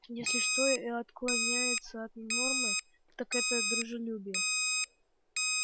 если что и отклоняется от нормы так это дружелюбие